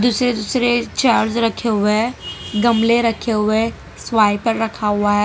श्री चार्ज रखे हुए है गमले रखे हुए है स्वाइपर पर रखा हुआ है।